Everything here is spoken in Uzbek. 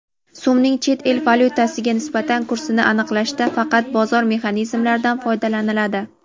So‘mning chet el valyutasiga nisbatan kursini aniqlashda faqat bozor mexanizmlaridan foydalaniladi.